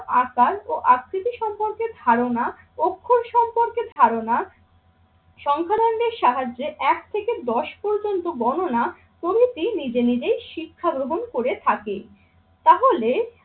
আকাল ও আকৃতি সম্পর্কে ধারণা, অক্ষর সম্পর্কে ধারণা সংখ্যালঘুদের সাহায্যে এক থেকে দশ পর্যন্ত গণনা প্রভৃতি নিজে নিজেই শিক্ষা গ্রহণ করে থাকে। তাহলে